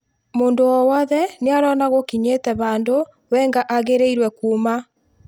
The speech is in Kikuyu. Mũndũ o wothe nĩarona gũkinyĩte handũ Wenger agĩrĩirwe kuuma".